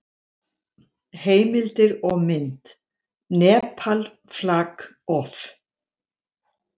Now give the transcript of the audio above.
Heimildir og mynd: Nepal, flag of.